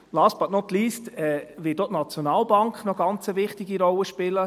Last but not least wird auch die Nationalbank eine sehr wichtige Rolle spielen.